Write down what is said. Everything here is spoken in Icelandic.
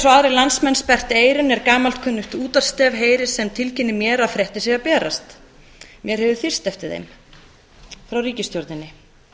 og aðrir landsmenn sperrt eyrun er gamalkunnugt útvarpsstef heyrist sem tilkynnir mér að fréttir séu að berast mig hefur þyrst eftir þeim frá ríkisstjórninni